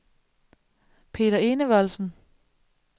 Peder Enevoldsen